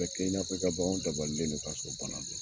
A bɛ kɛ i n'a fɔ i ka baganw dabalilen do ka sɔrɔ banna do